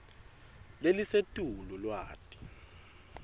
lelisetulu lwati